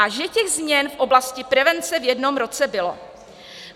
A že těch změn v oblasti prevence v jednou roce bylo.